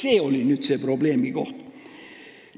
See oli see probleemikoht.